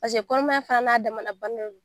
Paseke kɔnɔmaya fana n'a damaana bana de don.